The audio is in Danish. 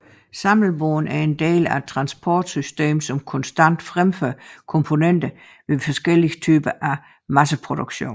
Samlebånd er en del af et transportsystem som konstant fremfører komponenter ved forskellige typer af masseproduktion